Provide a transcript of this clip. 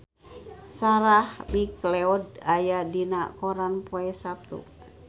Sarah McLeod aya dina koran poe Saptu